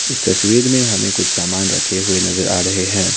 इस तस्वीर में हमें कुछ सामान रखे हुए नजर आ रहे हैं।